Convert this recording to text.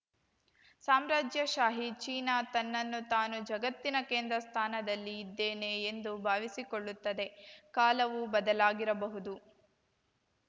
ಸಾಮ್ರಾಜ್ಯಶಾಹಿ China ತನ್ನನ್ನು ತಾನು ಜಗತ್ತಿನ ಕೇಂದ್ರ ಸ್ಥಾನದಲ್ಲಿ ಇದ್ದೇನೆ ಎಂದು ಭಾವಿಸಿಕೊಳ್ಳುತ್ತದೆ ಕಾಲವು ಬದಲಾಗಿರಬಹುದು